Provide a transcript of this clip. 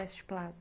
West Plaza.